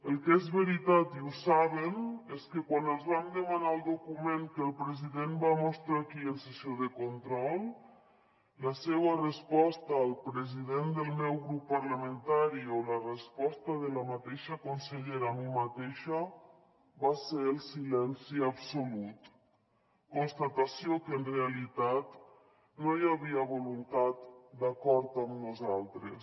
el que és veritat i ho saben és que quan els vam demanar el document que el president va mostrar aquí en sessió de control la seua resposta al president del meu grup parlamentari o la resposta de la mateixa consellera a mi mateixa va ser el silenci absolut constatació que en realitat no hi havia voluntat d’acord amb nosaltres